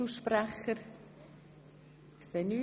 – Das ist nicht der Fall.